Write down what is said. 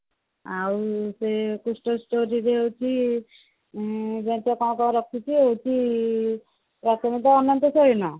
ଆଉ ଗୋଟେ story ରେ ତୁ